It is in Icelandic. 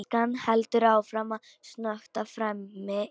Elsa heldur áfram að snökta framí eldhúsi.